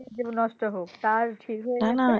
জীবন নষ্ট হোক তার